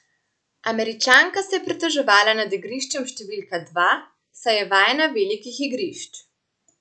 Američanka se je pritoževala nad igriščem številka dva, saj je vajena velikih igrišč.